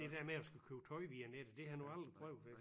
Det der med at skulle købe tøj via nettet det har han jo aldrig prøvet